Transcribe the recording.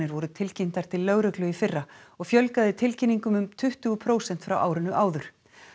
voru tilkynntar til lögreglu í fyrra og fjölgaði tilkynningum um tuttugu prósent frá árinu áður